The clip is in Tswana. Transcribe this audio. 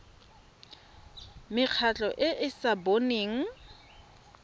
mekgatlho e e sa boneng